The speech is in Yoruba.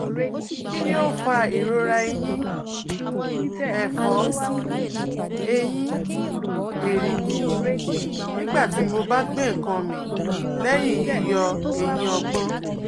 Kini o fa irora ẹyin-ẹfọ/eyin-ẹrigi nigbati mo ba gbe nkan mi lẹyin yiyọ eyin ogbon?